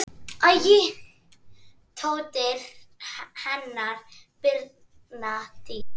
Dóttir hennar: Birna Dís.